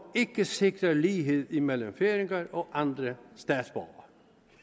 ikke sikrer lighed imellem færinger og andre statsborgere